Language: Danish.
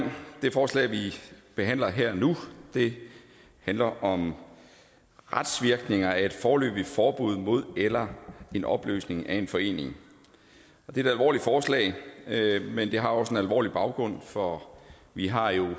det forslag vi behandler nu handler om retsvirkninger af et foreløbigt forbud mod eller en opløsning af en forening det er et alvorligt forslag men det har også en alvorlig baggrund for vi har jo